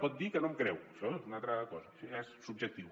pot dir que no em creu això és una altra cosa això ja és subjectiu